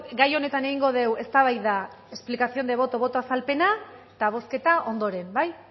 gai honetan egingo dugu eztabaida explicación de voto boto azalpena eta bozketa ondoren bai